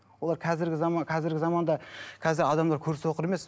олар қазіргі заман қазіргі заманда қазір адамдар көрсоқыр емес